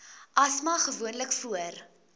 asma gewoonlik voor